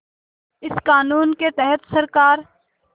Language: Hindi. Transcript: इस क़ानून के तहत सरकार